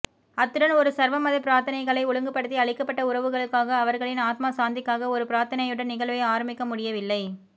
அத்துடன் ஒரு சர்வமத பிரார்த்தனைகளை ஒழுங்குபடுத்தி அழிக்கப்பட்ட உறவுகளுக்காக அவர்களின் ஆத்மா சாந்திக்காக ஒரு பிரார்த்தனையுடன் நிகழ்வை ஆரமிக்கமுடியவில்லை